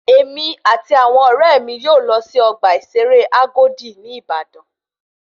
Èmi àti àwọn ọ̀rẹ́ mi yóò lọ sí ọgbà ìṣeré Agodi ní Ìbàdàn